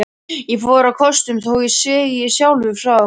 Ég fór á kostum, þó ég segi sjálfur frá.